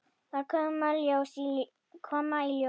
Það muni koma í ljós.